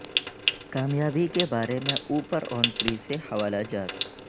کامیابی کے بارے میں اوپرا ونفری سے حوالہ جات